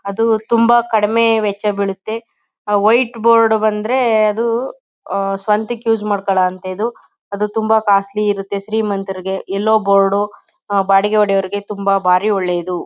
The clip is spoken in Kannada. ಅದು ತುಂಬ ಕಡಿಮೆ ವೆಚ್ಚ ಬೀಳುತ್ತೆ. ವೈಟ್ ಬೋರ್ಡ್ ಬಂದ್ರೆ ಅದು ಸ್ವಂತಕ್ ಯೂಸ್ ಮಾಡ್ಕೊಳೋ ಅಂತದು ಅದು ತುಂಬ ಕಾಸ್ಟ್ಲಿ ಇರುತ್ತೆ ಶ್ರೀಮಂತರಿಗೆ. ಯಲ್ಲೋ ಬೋರ್ಡ್ ಬಾಡಿಗೆ ಹೊಡಿಯೋ ಅವರ್ಗೆ ತುಂಬ ಬಾರಿ ಒಳ್ಳೇದು.